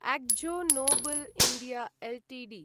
Akzo Nobel India Ltd